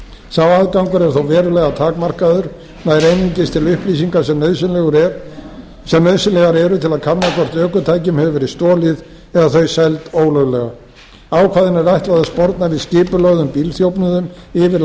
sá aðgangur er þó verulega takmarkaður væri einungis til upplýsingar sem nauðsynlegar eru til að kanna hvort ökutækjum hefur verið stolið eða þau seld ólöglega ákvæðinu er ætlað að sporna við skipulögðum bílþjófnuðum yfir